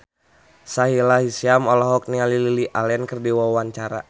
Sahila Hisyam olohok ningali Lily Allen keur diwawancara